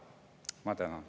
Ma tänan.